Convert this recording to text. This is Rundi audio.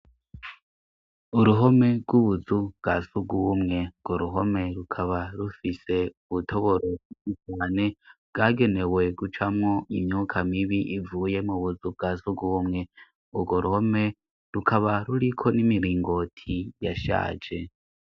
Uruhome rw'ubuzu bwa sugumwe ngo ruhome rukaba rufise ubutoboroumane bwagenewe gucamwo imyuka mibi ivuye mu buzu bwa sugumwe urwo ruhome rukaba ruriko n'imiringoti yashaje.